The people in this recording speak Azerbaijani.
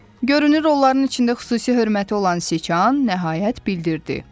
Görünür, onların içində xüsusi hörməti olan Siçan nəhayət bildirdi.